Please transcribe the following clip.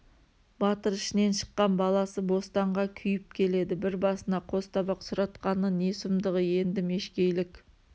батыр ішінен шыққан баласы бостанға күйіп келеді бір басына қос табақ сұратқаны не сұмдығы енді мешкейлік